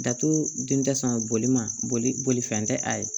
Datugu dunta san bolima boli boli fɛn tɛ a ye